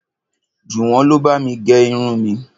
Jùwọ́n ló bá mi gẹ irun mi